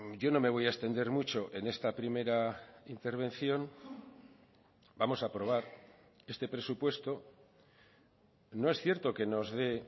yo no me voy a extender mucho en esta primera intervención vamos a aprobar este presupuesto no es cierto que nos dé